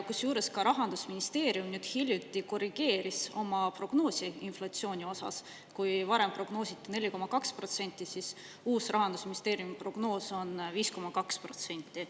Kusjuures, ka Rahandusministeerium hiljuti korrigeeris oma prognoosi inflatsiooni osas: kui varem prognoositi 4,2%, siis uus Rahandusministeeriumi prognoos on 5,2%.